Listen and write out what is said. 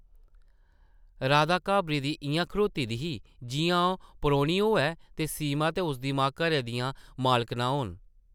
राधा घाबरी दी इʼयां खड़ोती दी ही जिʼयां ओह् परौह्नी होऐ ते सीमा ते उसदी मां घरै दियां मालकनां होन ।